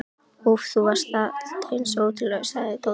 Úff, þú varst aldeilis ótrúlegur, sagði Tóti.